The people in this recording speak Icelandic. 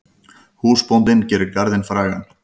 Húsbóndinn gerir garðinn frægan.